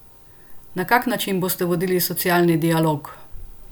Na kak način boste vodili socialni dialog?